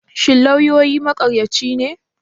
Shin lauyoyi maƙaryaci ne?